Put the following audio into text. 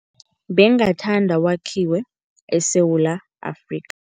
Bengathanda wakhiwe eSewula Afrikha.